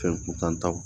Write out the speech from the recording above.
Fɛn kuntan taw